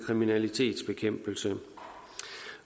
kriminalitetsbekæmpelse